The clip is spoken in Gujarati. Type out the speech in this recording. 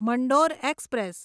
મંડોર એક્સપ્રેસ